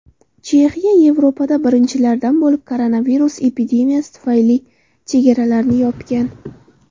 Chexiya Yevropada birinchilardan bo‘lib koronavirus epidemiyasi tufayli chegaralarini yopgan.